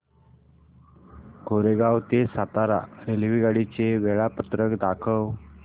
कोरेगाव ते सातारा रेल्वेगाडी चे वेळापत्रक दाखव